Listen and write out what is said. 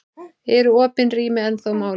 Eru opin rými ennþá málið?